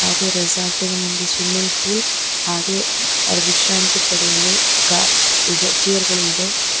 ಹಾಗೆ ರಿಸಲ್ಟ್ ಇನ ಮುಂದೆ ಸ್ವಿಮ್ಮಿಂಗ್ ಪೂಲ್ ಹಾಗೆ ವಿಶ್ರಾಂತಿ ಪಡೆಯಲು ಗಾ ಚೇರ್ ಗಳು ಇದೆ.